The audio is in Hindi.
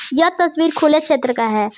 यह तस्वीर खुले क्षेत्र का है।